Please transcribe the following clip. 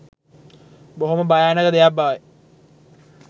බොහොම භයානක දෙයක් බවයි.